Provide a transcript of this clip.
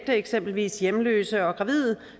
til eksempelvis hjemløse og gravide